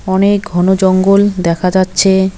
অনেক ঘন জঙ্গল দেখা যাচ্ছে।